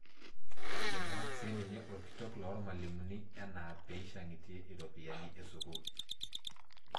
Eibung'aki siininye orkitok loormalimunie enaa peishang'itie iropiyiani eskuul.